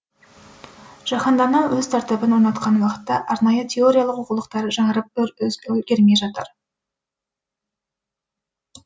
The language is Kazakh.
жаһандану өз тәртібін орнатқан уақытта арнайы теориялық оқулықтар жаңарып үлгермей жатыр